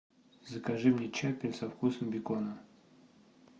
закажи мне чаппи со вкусом бекона